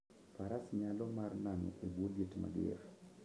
Faras nyalo mar nano e bwo liet mager